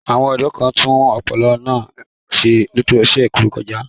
Àwọn ọ̀dọ́ kan tún opopona náa ṣe lọ́sẹ̀ tó kọjá.